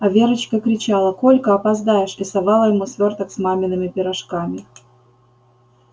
а верочка кричала колька опоздаешь и совала ему свёрток с мамиными пирожками